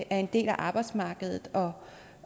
er en del af arbejdsmarkedet og